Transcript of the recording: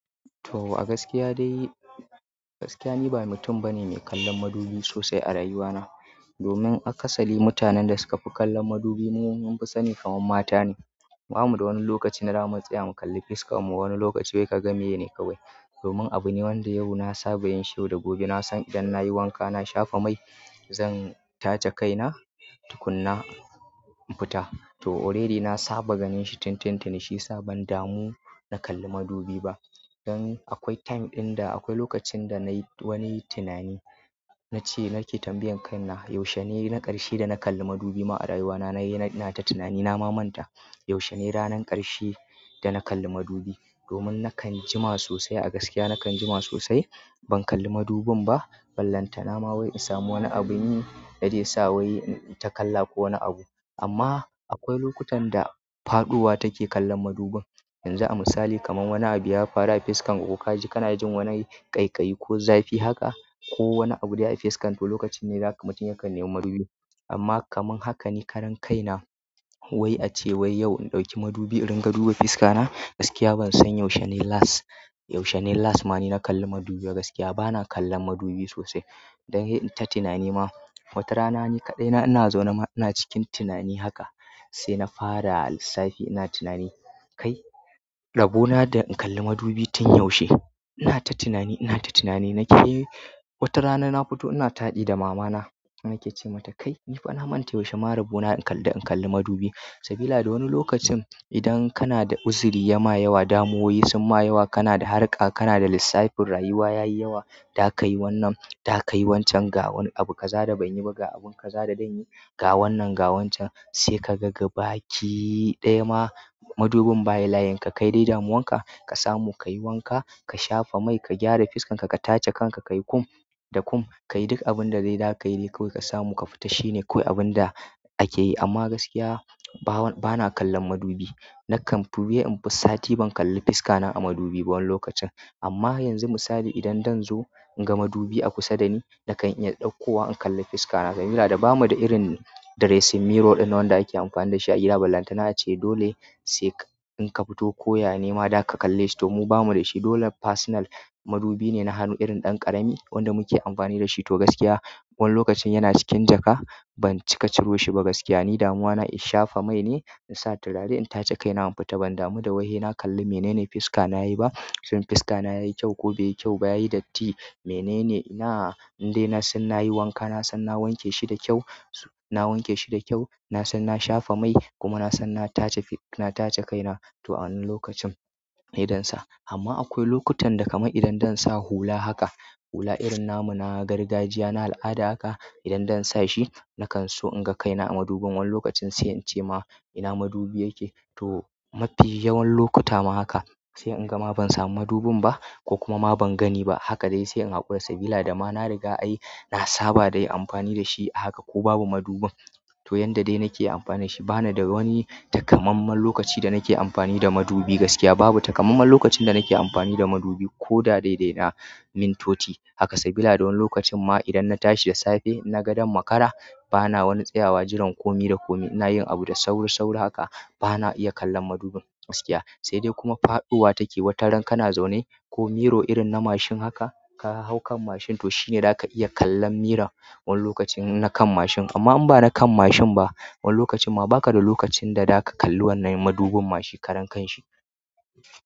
To, a gaskiya dai, gaskiya ni ba mutum bane mai kallon madubi sosai a rayuwa na. Domin a kasari mutanen da suka fi kallon madubi mafi sani kamar mata ne. Bamu da wani lokacin da damu tsaya mu kalli fuskan mu, wani lokaci wai ka ga me ne kawai. Domin abu ne wanda yau na saba yin shi, da gobe na san idan na yi wanka, na shafa mai, zan tace kaina tukuna in fita. To already na saba ganin shi tin tin tini shiyasa ban damu na kalli madubi ba. Dan akwai time ɗin da akwai lokacin da na yi wani tunani, na ce na ke tambayan kaina, yaushe ne na ƙarshe da na kalli madubi ma a rayuwa na? Na yi, ina ta tunani na ma manta. Yaushe ne ranan ƙarshe da na kalli madubi? Domin na kan jima sosai a gaskiya, na kan jima sosai. Ban kalli madubin ba, ballanta na ma wai in samu wani abu ne da zai sa wai inta kalla ko wani abu. Amma akwai lokutan da faɗowa take kallon madubin. Yanzu a misali kamar wani abu ya faru a fiskan ko, ka ji kana jin wani ƙaiƙayi ko zafi haka, ko wani abu dai a fiskan ku, to lokacin ne zaka he ka nemo madubi. Amma kamar haka ne karan kai na, wai ace wai yau in ɗauki madubi in ringa duba fiska na. Gaskiya bansan yaushe last yaushe ne last dana kalli madubi ba gaskiya bana kallon madubi sosai. Dan he inta tunani ma, wata rana ni kaɗai na, ina zaune ma ina cikin tunani haka, sai na fara lissafi ina tunani, "Kai, rabo na da in kalli madubi tun yaushe?" Ina ta tunani, ina ta tunani na ke wata rana na fito ina taɗi da mama na. Na ke ce mata, "Kai, ni fa na manta yaushe ma rabo na in kalli, in kalli madubi." Sabila da wani lokacin idan kana da uzuri ya ma yawa, damuwoyi sun ma yawa, kana da harka, kana da lissafin rayuwa yayi yawa, da ka yi wannan, da ka yi wancan, ga wani abu ka zada ban yi ba ga abun ka zada dan yi, ga wannan ga wancan. Sai ka ga baki ɗaya ma madubin ba ya layin. Ka kai dai damuwan ka, ka samu ka yi wanka, ka shafa mai, ka gyara feskan ka, ka tace kanka, ka yi comb da comb ka yi duk abun da dai za ka yi dai kawai ka samu ka fita. Shi ne kawai abun da a ke yi. Amma gaskiya bawan bana kallon madubi na kan fi he in fi sati ban kalli fiska na a madubi ba wani lokacin. Amma yanzu misali idan dan zo in ga madubi a kusa da ni, na kan iya ɗauko wa in kalli fiska na. Sabila da ba mu da irin dressing mirror ɗin da wanda ake amfani da shi a gida ballanta. Na ce dole sai in ka fito koya nema, da ka kalle shi. To mu ba mu da shi. Dole personal madubi ne na hannu irin ɗan ƙarami wanda muke amfani da shi. To gaskiya wani lokacin yana cikin jaka, ban cika ciro shi ba gaskiya. Ni damuwa na in shafa mai ne, in sa turare, in tace kaina in fita. Ban damu da wai he na kalli mene ne fiska na yayi ba. Shin fiska na yayi kyau ko bai yi kyau ba, yayi datti, mene ne? Ina, indai na san na yi wanka, na san na wanke shi da kyau, na wanke shi da kyau, na san na shafa mai kuma na san na tace fi, na tace kaina. To a wannan lokacin meye dan sa. Amma akwai lokutan da kamar idan dan sa hula haka, hula irin namu na gargajiya, na al'ada haka. Idan dan sa shi, na kan so in ga kaina a madubin wani lokacin sai in ce ma, "ina madubi yake?" To mafi yawan lokuta ma haka, sai in ga ma ban samu madubin ba ko kuma ma ban gani ba. Haka dai sai in haƙura sabilah da ma na riga ai na saba da yin amfani da shi a haka ko babu madubin. To yanda dai na ke amfani da shi, bana da wani takamamman lokaci da na ke amfani da madubi gaskiya. Babu takamamman lokacin da na ke amfani da madubi ko da daidai da min toti haka. Sabilah da wani lokacin ma idan na tashi da safe, na ga ɗan makara, bana wani tsayawa jiran kome da kome. Ina yin abu da sauri sauri haka, bana iya kallon madubin gaskiya. Sai dai kuma faɗowa take wataran kana zaune ko mirror irin na mashin haka, ka hau kan mashin to shi ne zaka iya kallon mirrorn wani lokacin na kan mashin. Amma inba na kan mashin ba wani lokacin ma baka da lokacin da zaka kalli wannan madubin ma shi karan kanshi.